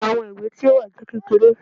Iwọn iwe ti o wa jẹ kekere